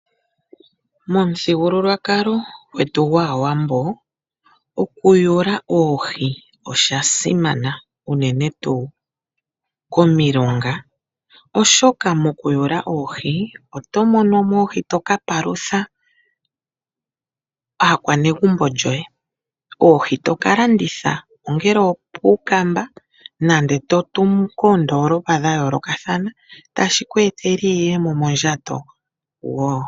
Momuthigululwakalo gwetu gwaAwambo, oku yula oohi oshasimana unene tuu komilonga oshoka mokuyula oohi oto monomo oohi to kapalutha aakwanegumbo lyoye, oohi to kalanditha ongele opuukamba nande to tumu koondoolopa dha yoolokathana tashi kweetele iiyemo mondjato woo.